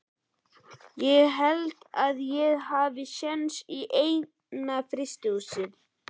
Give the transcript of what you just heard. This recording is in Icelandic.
Ég held að ég hafi séns í eina í frystihúsinu.